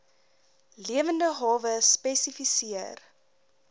lewende hawe spesifiseer